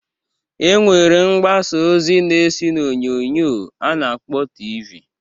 E nwere mgbasa ozi na-esi n'onyoonyo a na-akpọ TV.